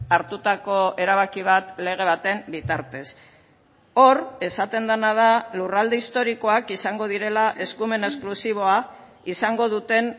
hartutako erabaki bat lege baten bitartez hor esaten dena da lurralde historikoak izango direla eskumen esklusiboa izango duten